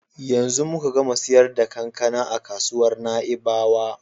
Yanzu muka gama siyar da kankana a kasuwar Na'ibawa.